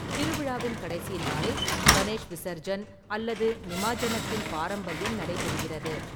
திருவிழாவின் கடைசி நாளில், கணேஷ் விசர்ஜன் அல்லது நிமாஜ்ஜனத்தின் பாரம்பரியம் நடைபெறுகிறது.